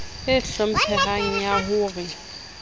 e hlomphehang ya ho re